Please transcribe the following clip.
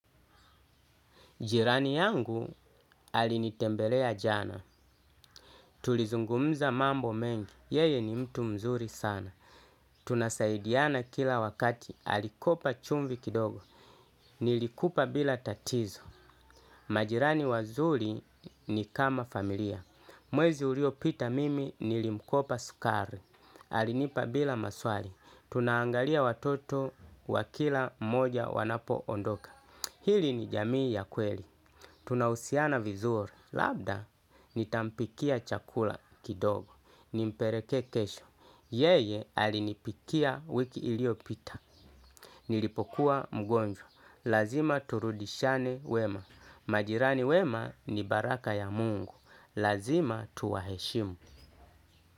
Jirani yangu alinitembelea jana, tulizungumza mambo mengi, yeye ni mtu mzuri sana. Tunasaidiana kila wakati, alikopa chumvi kidogo, nilikupa bila tatizo. Majirani wazuri ni kama familia, mwezi ulio pita mimi nilimkopa sukari. Alinipa bila maswali, tunaangalia watoto wakila moja wanapo ondoka. Hili ni jamii ya kweli. Tunahusiana vizuri labda nitampikia chakula kidogo. Ni mpereke kesho. Yeye alinipikia wiki ilio pita. Nilipokuwa mgonjwa. Lazima turudishane wema. Majirani wema ni baraka ya mungu. Lazima tuwaheshimu.